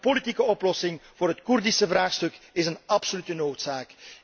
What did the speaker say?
En ook een politieke oplossing voor het Koerdische vraagstuk is een absolute noodzaak.